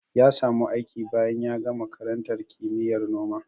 Ya samu aiki bayan ya gama karantar kimiyyar noma.